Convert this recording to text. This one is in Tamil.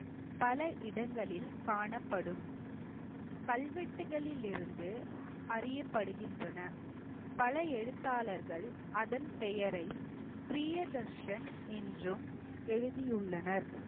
பல இடங்களில் காணப்படும் கல்வெட்டுகளிலிருந்து அறியப்படுகின்றன. பல எழுத்தாளர்கள் அதன் பெயரை பிரியதர்ஷன் என்றும் எழுதியுள்ளனர்.